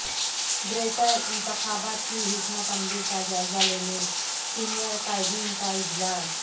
greater انتخابات کی حکمت عملی کا جائزہ لینے سینئر قائدین کا اجلاس